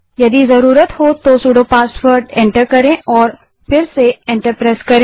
यदि जरूरत हो तो सुडो पासवर्ड को एंटर करें और फिर से एंटर दबायें